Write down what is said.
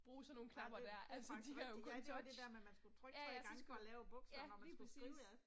Ej det det er faktisk rigtigt, ja det var det der med at man skulle trykke 3 gange for at lave et bogstav når man skulle skrive noget